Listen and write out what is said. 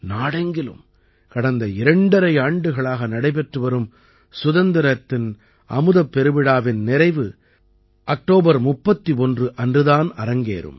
நாடெங்கிலும் கடந்த இரண்டரை ஆண்டுகளாக நடைபெற்று வரும் சுதந்திரத்தின் அமுதப் பெருவிழாவின் நிறைவு அக்டோபர் 31 அன்று தான் அரங்கேறும்